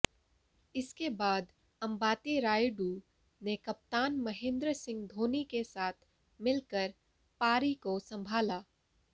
इसके बाद अंबाती रायूडु ने कप्तान महेंद्र सिंह धोनी के साथ मिलकर पारी को संभाला